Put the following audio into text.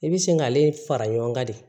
I bɛ sin k'ale fara ɲɔgɔn kan de